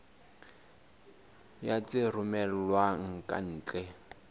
ya tse romellwang ka ntle